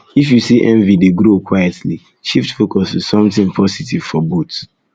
if you see envy dey grow quietly shift focus to something positive for both